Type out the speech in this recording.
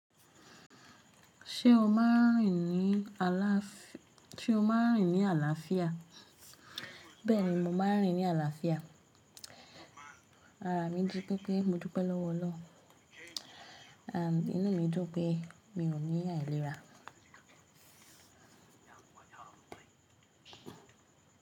Ṣé o máa rìn ní àlàáfíà? Bẹ́ẹ̀ni, mo máa rìn ní àlàáfíà. Ará, mi jí pé pé mo dúpẹ́ lọ́wọ́ Olọrun. À, inú mi dún pé mi ò ní àìlera.